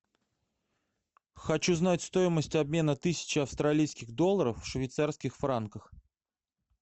хочу знать стоимость обмена тысячи австралийских долларов в швейцарских франках